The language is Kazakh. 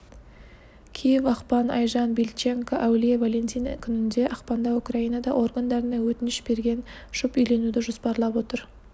киев ақпан айжан бильченко әулие валентин күнінде ақпанда украинада органдарына өтініш берген жұп үйленуді жоспарлап отыр